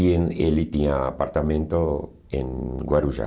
E em ele tinha apartamento em Guarujá.